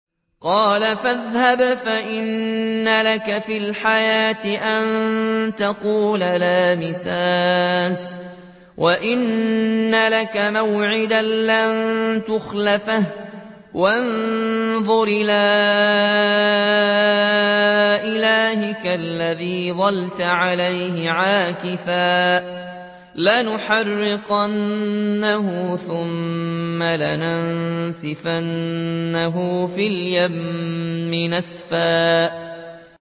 قَالَ فَاذْهَبْ فَإِنَّ لَكَ فِي الْحَيَاةِ أَن تَقُولَ لَا مِسَاسَ ۖ وَإِنَّ لَكَ مَوْعِدًا لَّن تُخْلَفَهُ ۖ وَانظُرْ إِلَىٰ إِلَٰهِكَ الَّذِي ظَلْتَ عَلَيْهِ عَاكِفًا ۖ لَّنُحَرِّقَنَّهُ ثُمَّ لَنَنسِفَنَّهُ فِي الْيَمِّ نَسْفًا